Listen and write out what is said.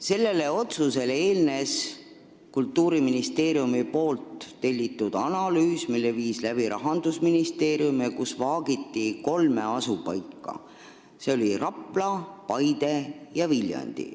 Sellele otsusele eelnes Kultuuriministeeriumi tellitud analüüs, mille viis läbi Rahandusministeerium ja kus vaagiti kolme asupaika, mis olid Rapla, Paide ja Viljandi.